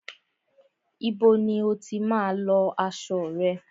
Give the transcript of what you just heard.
Ibo ni o tí má ń lọ aṣo rẹ?